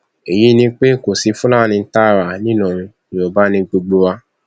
èyí ni pé kò sí fúlàní tààrà ńìlọrin yorùbá ni gbogbo wa